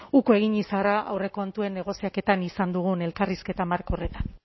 uko egin izana aurrekontuen negoziaketan izan dugun elkarrizketa marko horretan